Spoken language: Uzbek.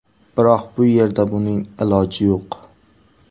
Biroq bu yerda buning iloji yo‘q.